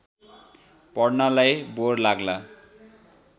पढ्नलाई bore लाग्ला